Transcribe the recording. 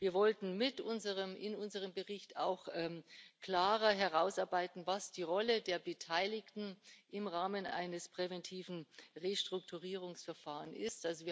Wir wollten in unserem Bericht auch klarer herausarbeiten, was die Rolle der Beteiligten im Rahmen eines präventiven Restrukturierungsverfahrens ist.